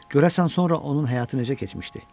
Görəsən sonra onun həyatı necə keçmişdi?